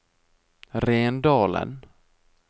Rendalen